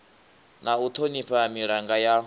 na u thonifha milanga ya